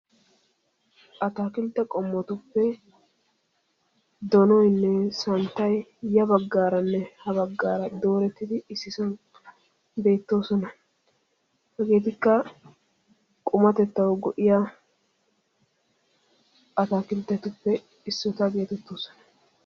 attakilte qomo gidida donoynne santtay beettosona hegettikka qumatetaw go"iyagetta.